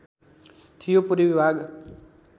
थियो पूर्वी भाग